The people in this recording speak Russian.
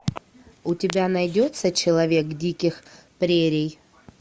у тебя найдется человек диких прерий